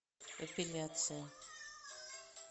эпиляция